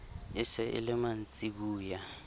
e se e le mantsiboya